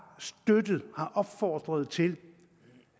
opfordret til